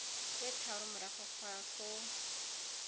tse tharo morago ga foo